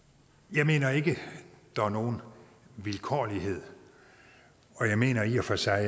jeg mener ikke der er nogen vilkårlighed og jeg mener i og for sig